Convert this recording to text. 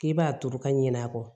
K'i b'a turu ka ɲin'a kɔ